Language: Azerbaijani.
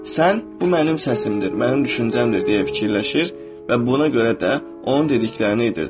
Sən bu mənim səsimdir, mənim düşüncəmdir deyə düşünür və buna görə də onun dediklərini edirdin.